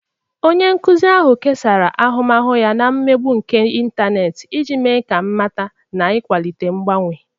Onye nkuzi ahụ kesara ahụmahụ ya na emegbu nke ịntanetị iji mee ka mmata na ịkwalite mgbanwe.